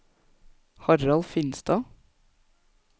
Harald Finstad